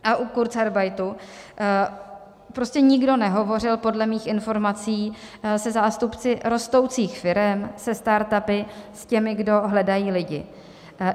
A u kurzarbeitu prostě nikdo nehovořil podle mých informací se zástupci rostoucích firem, se start-upy, těmi, kdo hledají lidi.